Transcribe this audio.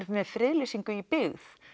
með friðlýsingu í byggð